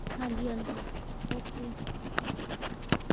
ਹਨ ਜੀ ਹਨ ਜੀ okay